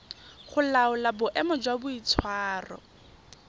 go laola boemo jwa boitshwaro